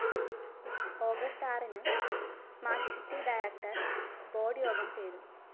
August ആറിനു smart city director board യോഗം ചേരും